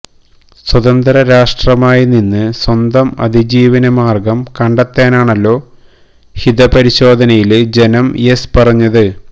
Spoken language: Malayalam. സ്വതന്ത്ര രാഷ്ട്രമായി നിന്ന് സ്വന്തം അതിജീവന മാര്ഗം കണ്ടെത്താനാണല്ലോ ഹിതപരിശോധനയില് ജനം യെസ് പറഞ്ഞത്